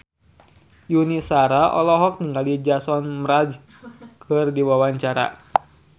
Yuni Shara olohok ningali Jason Mraz keur diwawancara